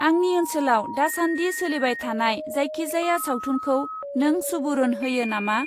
आंनि ओनसोलाव दासान्दि सोलिबायथानाय जायखिजाया सावथुनखौ नों सुबुरुन होयो नामा?